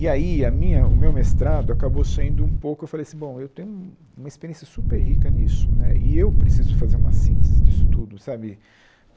E aí a minha o meu mestrado acabou sendo um pouco... eu falei assim, bom, eu tenho uma experiência super rica nisso né, e eu preciso fazer uma síntese disso tudo, sabe?